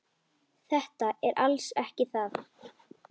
Þetta er alls ekki það.